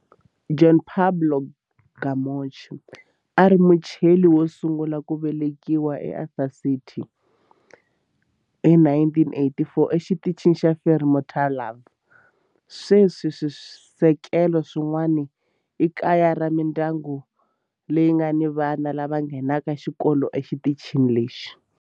Juan Pablo Camacho a a ri Muchile wo sungula ku velekiwa eAntarctica hi 1984 eXitichini xa Frei Montalva. Sweswi swisekelo swin'wana i kaya ra mindyangu leyi nga ni vana lava nghenaka xikolo exitichini lexi.